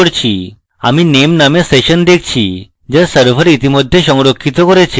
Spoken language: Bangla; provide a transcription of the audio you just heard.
আমি name নামক session দেখসি যা server ইতিমধ্যে সংরক্ষিত করেছে